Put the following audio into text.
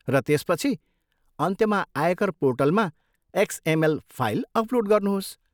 र त्यसपछि अन्त्यमा आयकर पोर्टलमा एक्सएमएल फाइल अपलोड गर्नुहोस्।